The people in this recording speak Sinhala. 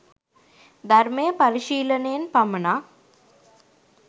ධර්මය පරිශීලනයෙන් පමණක්